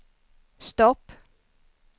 stopp